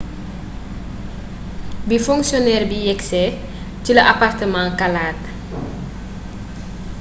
bi fonctionnaire bi yegsee ci la appartement kalaate